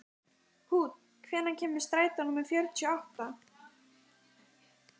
Húnn, hvenær kemur strætó númer fjörutíu og átta?